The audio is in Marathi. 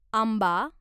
आंबा